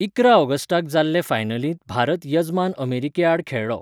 इकरा ऑगस्टाक जाल्ले फायनलींत भारत यजमान अमेरिकेआड खेळ्ळो.